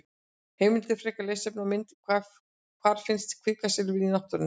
Heimildir, frekara lesefni og mynd: Hvar finnst kvikasilfur í náttúrunni?